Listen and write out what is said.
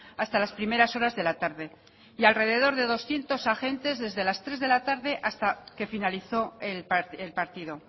hasta las primeras horas de la tarde y alrededor de doscientos agentes desde las tres de la tarde hasta que finalizó el partido